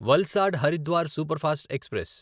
Valsad Haridwar superfast express